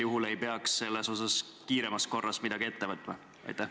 Ja kui näete, siis kas sel juhul ei peaks kiiremas korras midagi ette võtma?